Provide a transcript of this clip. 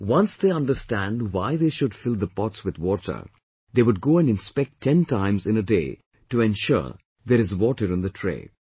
Once they understand why they should fill the pots with water they would go and inspect 10 times in a day to ensure there is water in the tray